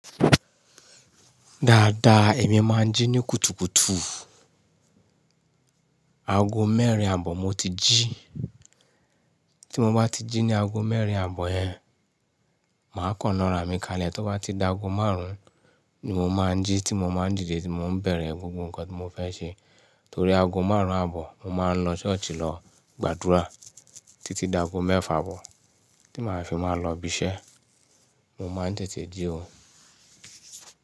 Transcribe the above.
Dáadáa, èmi máa ń jí ní kùtùkùtù. Ago mẹ́rin àbọ̀ mo ti jí. Tí mo bá ti jí ní ago mẹ́rin àbọ̀ yẹn, màá kànná ra mi kalẹ̀. Tó bá ti da ago márùn-ún ni mo máa ń jí tí mo má ń dìde tí mo ń bẹ̀rẹ̀ gbogbo nǹkan tí mo fẹ́ ṣe. Torí ago márùn-ún àbọ̀, mo máa ń lọ ṣọ́ọ̀ṣì lọ gbàdúrà títí da ago mẹ́fà àbọ̀ tí màá fi máa lọ ibiṣẹ́. Mo má ń tètè jí ò.